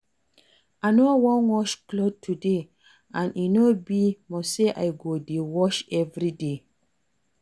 I no wan wash cloth today and e no be must say I go dey wash everyday